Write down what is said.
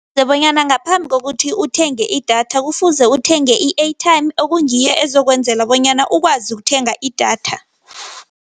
Bonyana ngaphambi kokuthi uthenge idatha kufuze uthenge i-airtime okungiyo ezokwenzela bonyana ukwazi ukuthenga idatha.